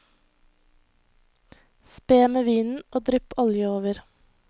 Spe med vinen og drypp olje over.